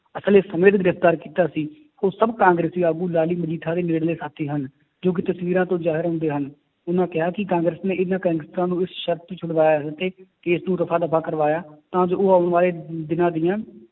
ਅਸਲੇ ਸਮੇਂ ਤੇ ਗ੍ਰਿਫ਼ਤਾਰ ਕੀਤਾ ਸੀ, ਉਹ ਸਭ ਕਾਂਗਰਸੀ ਆਗੂ ਮਜੀਠਾ ਦੇ ਨੇੜਲੇ ਸਾਥੀ ਹਨ, ਜੋ ਕਿ ਤਸਵੀਰਾਂ ਤੋਂ ਜ਼ਾਹਿਰ ਹੁੰਦੇ ਹਨ, ਉਹਨਾਂ ਕਿਹਾ ਕਿ ਕਾਂਗਰਸ ਨੇ ਇਹਨਾਂ ਗੈਂਗਸਟਰਾਂ ਨੂੰ ਵੀ ਸਰਤ ਤੇ ਛੁਡਵਾਇਆ ਹੈ ਕਿ case ਨੂੰ ਰਫ਼ਾ ਦਫ਼ਾ ਕਰਵਾਇਆ ਤਾਂ ਜੋ ਉਹ ਆਉਣ ਵਾਲੇ ਦਿਨਾਂ ਦੀਆਂ